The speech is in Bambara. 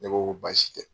Ne ko ko baasi tɛ